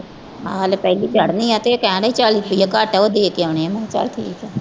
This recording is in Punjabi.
ਹਾਂ ਹਾਲੇ ਪਹਿਲੀ ਚੜ੍ਹਨੀ ਆਂ ਤੇ ਇਹ ਕਹਿੰਦੇ ਚਾਲੀ ਰੁਪਏ ਘੱਟ ਆ ਉਹ ਦੇ ਕੇ ਆਉਨੇ ਆਂ ਠੀਕ ਹੈ